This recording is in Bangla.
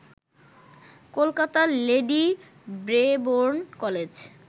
কলকাতার লেডি ব্রেবোর্ন কলেজ